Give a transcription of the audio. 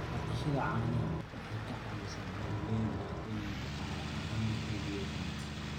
Dhaqashada caanaha waxay ka caawisaa beeralayda inay dhaqaale ahaan xoog yeeshaan.